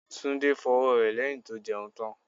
Tunde fọ ọwọ́ rẹ̀ lẹ́yìn tó jẹun tán.